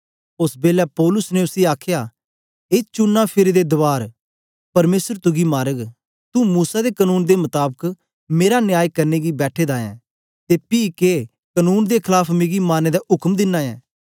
ओस बेलै पौलुस ने उसी आखया ए चूना फिरे दे दवार परमेसर तुगी मारग तुं मूसा दे कनून दे मताबक मेरा न्याय करने गी बैठे दा ऐं ते पी के कनून दे खलाफ मिकी मारने दा उक्म दिना ऐ